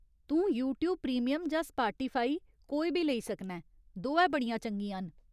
तूं YouTube premium जां Spotify कोई बी लेई सकना ऐं, दोऐ बड़ियां चंगियां न।